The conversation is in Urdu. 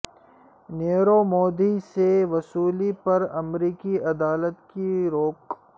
نیرو مودی سے وصولی پر امریکی عدالت کی روک